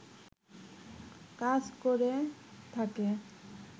কাজ করে থাকে